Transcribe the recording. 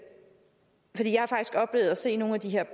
se nogle af de her